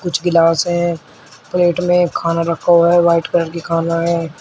कुछ गिलास हैं प्लेट में खाना रखा हुआ है व्हाईट कलर की खाना है।